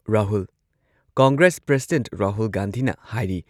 Rahul- Congress president Rahul ꯒꯥꯟꯙꯤꯅ ꯍꯥꯏꯔꯤ